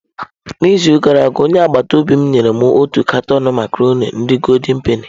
N’izu gara aga, onye agbata obi m nyere m otu katọn macarọnị ndi goldị penị.